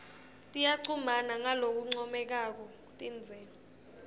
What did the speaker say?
tiyachumana ngalokuncomekako tindze